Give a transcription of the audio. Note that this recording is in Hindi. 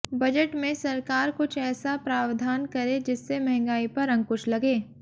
बजट में सरकार कुछ ऐसा प्रावधान करे जिससे महंगाई पर अंकुश लगे